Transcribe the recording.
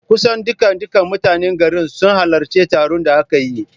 Kusan dukkan dukkan mutanen garin sun halarci taron da aka yi